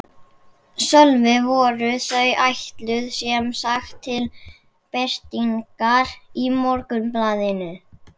Sölvi: Voru þau ætluð sem sagt til birtingar í Morgunblaðinu?